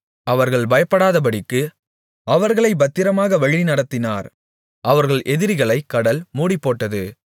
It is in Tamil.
அவர்கள் பயப்படாதபடிக்கு அவர்களைப் பத்திரமாக வழிநடத்தினார் அவர்கள் எதிரிகளைக் கடல் மூடிப்போட்டது